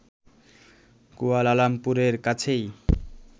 কুয়ালালামপুরের কাছেই